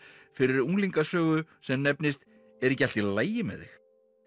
fyrir sem nefnist er ekki allt í lagi með þig